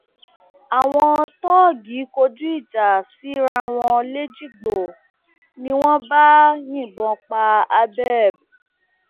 àwọn tóògì kọjú ìjà síra wọn lẹjìgbò ni wọn bá yìnbọn pa abẹb